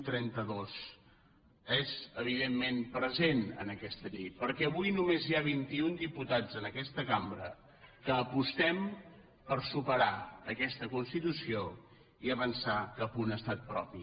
trenta dos és evidentment present en aquesta llei perquè avui només hi ha vintiun diputats en aquesta cambra que apostem per superar aquesta constitució i avançar cap a un estat propi